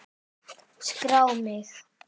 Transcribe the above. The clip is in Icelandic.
Skrá mig!